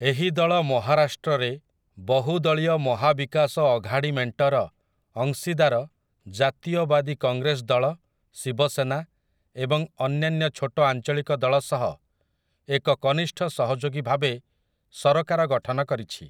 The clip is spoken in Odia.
ଏହି ଦଳ ମହାରାଷ୍ଟ୍ରରେ ବହୁଦଳୀୟ ମହା ବିକାଶ ଅଘାଡ଼ି ମେଣ୍ଟର ଅଂଶୀଦାର ଜାତୀୟବାଦୀ କଂଗ୍ରେସ ଦଳ, ଶିବସେନା ଏବଂ ଅନ୍ୟାନ୍ୟ ଛୋଟ ଆଞ୍ଚଳିକ ଦଳ ସହ ଏକ କନିଷ୍ଠ ସହଯୋଗୀ ଭାବେ ସରକାର ଗଠନ କରିଛି ।